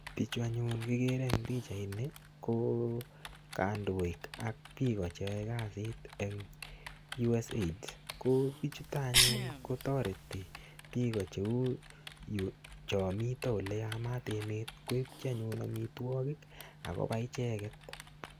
Bichu anyun kigere ne pichaini ko kondoik ak biik kasit en USAID. Ko bichuto anyun kotoreti biik igo, chom miten ole yamat emet koipchi amitwogik ak kobai icheget.